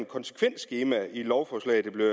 konsekvensskema i de lovforslag der bliver